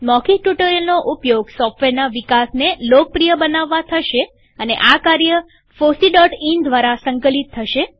મૌખિક ટ્યુ્ટોરીઅલનો ઉપયોગ સોફ્ટવેરના વિકાસને લોકપ્રિય બનાવવા થશે અને આ કાર્ય fosseઇન દ્વારા સંકલિત થશે